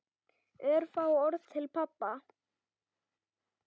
Örfá orð til pabba.